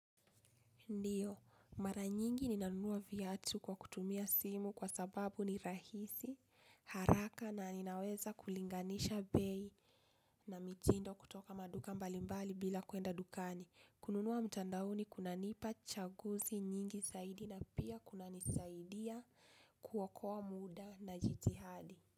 Ndiyo, mara nyingi ninanunua viatu kwa kutumia simu kwa sababu ni rahisi, haraka na ninaweza kulinganisha bei na mitindo kutoka maduka mbalimbali bila kuenda dukani. Kununua mtandaoni kunanipa chaguzi nyingi zaidi na pia kuna nisaidia kuokoa muda na jitihadi.